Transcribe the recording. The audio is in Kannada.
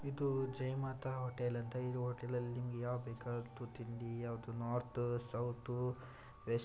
ಇದು ಜೈ ಮಾತಾ ಹೋಟೆಲ್ ಅಂತ ಇದು ಹೋಟೆಲ್ ಅಲ್ಲಿ ಯಾವ್ದ್ ಬೇಕಾದ್ರೂ ತಿಂಡಿ ಯಾವುದು ನಾರ್ತ್ ಸೌತ್ ವೆಸ್ಟ್ --